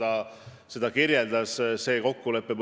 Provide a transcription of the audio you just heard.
Ma loodan, et see lahendus, see selgus tuleb võimalikult kiiresti.